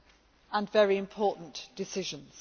and very important decisions.